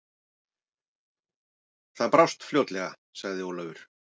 Það brást fljótlega, sagði Ólafur.